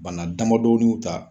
Bana damadɔnin ta.